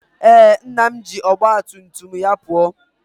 Ee, nna m ji ọgba tum tum ya pụọ